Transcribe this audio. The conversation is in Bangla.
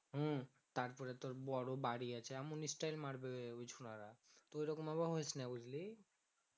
হম তারপরে তোর বড় বাড়ি আছে এমন styel মারবে ওই ছোরা রা তো এরকম আবার হোস না বুঝলে